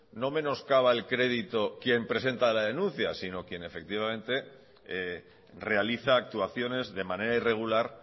no menoscaba el crédito quien presenta la denuncia sino quien efectivamente realiza actuaciones de manera irregular